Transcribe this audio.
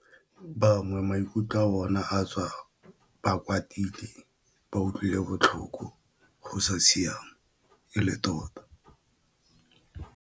Bangwe maikutlo a bona a tswa ba kwatile ba utlwile botlhoko go sa siama e le tota.